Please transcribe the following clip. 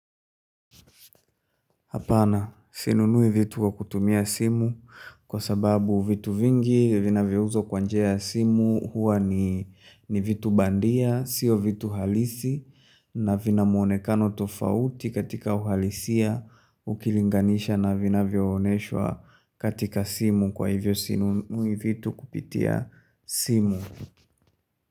Hapana, sinunui vitu kwa kutumia simu kwa sababu vitu vingi vinavyouzwa kwa njia simu huwa ni vitu bandia, sio vitu halisi na vina muonekano tofauti katika uhalisia ukilinganisha na vinavyooneshwa katika simu kwa hivyo sinunui vitu kupitia simu.